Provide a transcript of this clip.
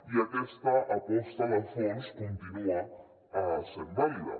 i aquesta aposta de fons continua sent vàlida